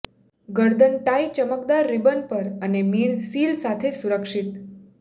ગરદન ટાઈ ચમકદાર રિબન પર અને મીણ સીલ સાથે સુરક્ષિત